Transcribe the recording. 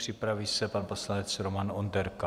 Připraví se pan poslanec Roman Onderka.